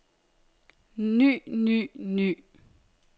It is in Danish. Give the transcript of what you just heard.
ny ny ny